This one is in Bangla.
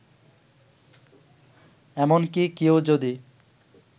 এমনকি কেউ যদি